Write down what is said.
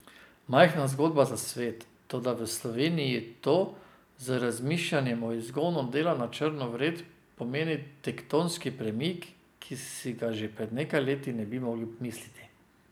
Majhna zgodba za svet, toda v Sloveniji to, z razmišljanjem o izgonu dela na črno vred, pomeni tektonski premik, ki si ga še pred nekaj leti ne bi mogli misliti.